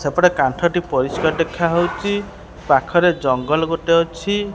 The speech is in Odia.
ସେପଟେ କାନ୍ଥ ଟି ପରିଷ୍କାର ଦେଖାହେଉଚି ପାଖରେ ଜଙ୍ଗଲ ଗୋଟେ ଅଛି।